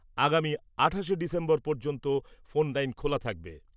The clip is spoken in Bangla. আগামী আঠাশে ডিসেম্বর পর্যন্ত ফোন লাইন খোলা থাকবে।